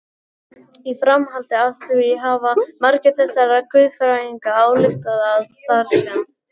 Í framhaldi af því hafa margir þessara guðfræðinga ályktað að þar sem